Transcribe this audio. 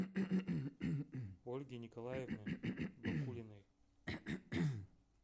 ольги николаевны бакулиной